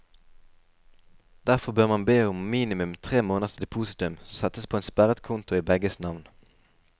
Derfor bør man be om minimum tre måneders depositum som settes på en sperret konto i begges navn.